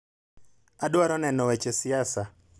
adwaro neno weche siasa